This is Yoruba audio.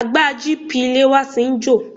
Àgbá GP ilé e wa ti ń jò.